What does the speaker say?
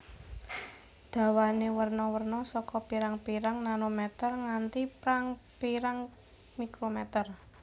Dawane werna werna saka pirang pirang nanometer nganti prang pirang mikrometer